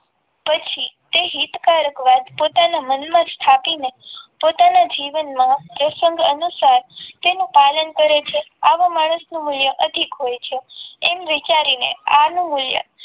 પછી તે હિતકારક વાત પોતાના મનમાં સ્થાપીને પોતાના જીવનમાં તે સંગત અનુસાર અને તેનું પાલન કરે છે આવા માણસનું મૂલ્ય અધિક હોય છે એમ વિચારીને આનું મૂલ્ય